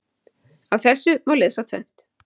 Af þessu má lesa tvennt.